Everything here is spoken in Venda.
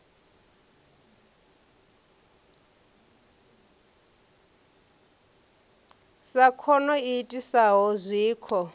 sa khono i itisaho zwikho